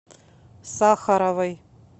сахаровой